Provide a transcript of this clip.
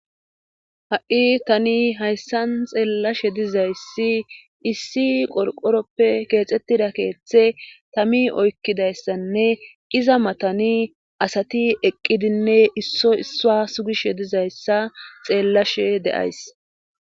ha7i tani hayssan xeellashe dizayssi issi qorqoroppe keexxettida keeththe tami oykkidayssanne iza matani asati eqqidinne isso issuwa sugishe dizayssa xeellashe de7ays